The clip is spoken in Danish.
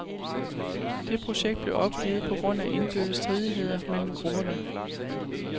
Det projekt blev opgivet på grund af indbyrdes stridigheder mellem grupperne.